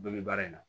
Bɛɛ bɛ baara in na